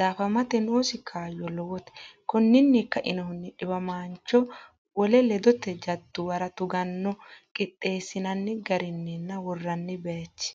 daafamate noosi kaayyo lowote Konninni kainohunni dhiwamaancho wole ledote jaddu- wara tuganno Qixxeessinanni garinninna worranni bayichi.